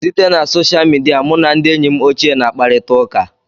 Site na soshal midia, mụ na ndị enyi m ochie na-akparịta ụká.